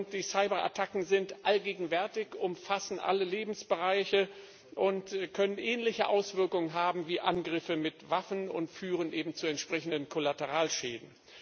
Die Cyberattacken sind allgegenwärtig, umfasssn alle Lebensbereiche und können ähnliche Auswirkungen haben wie Angriffe mit Waffen und führen eben zu entsprechenden Kollateralschäden.